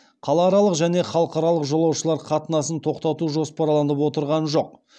қалааралық және халықаралық жолаушылар қатынасын тоқтату жоспарланып отырған жоқ